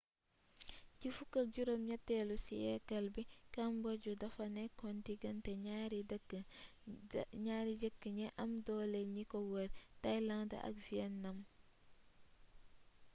ci 18,eelu siyeekal bi cambodge dafa nekoon digante ñary dëkk ñi am dole ñi ko wër thailand ak vietnam